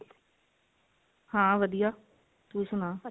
ਹਾਂ ਵਧਿਆ ਤੂੰ ਸੁਣਾ